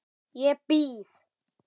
Ég býð!